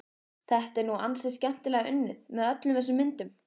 Þetta er nú ansi skemmtilega unnið, með öllum þessum myndum.